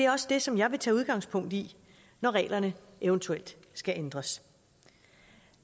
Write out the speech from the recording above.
også det som jeg vil tage udgangspunkt i når reglerne eventuelt skal ændres